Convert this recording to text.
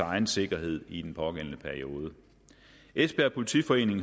egen sikkerhed i den pågældende periode esbjerg politiforening